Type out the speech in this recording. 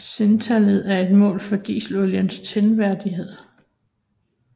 Cetantallet er et mål for dieselolies tændvillighed